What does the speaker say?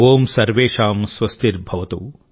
ఓం సర్వేషాం స్వస్తిర్భవతు